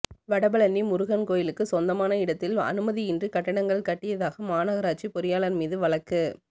வடபழனி முருகன் கோயிலுக்கு சொந்தமான இடத்தில் அனுமதியின்றி கட்டடங்கள் கட்டியதாக மாநகராட்சி பொறியாளர் மீது வழக்கு